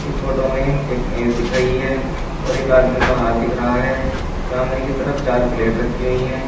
Photo में एक मेज दिख रही है और एक आदमी का हाथ दिख रहा है सामने की तरफ चार प्लेट रखी हुई है।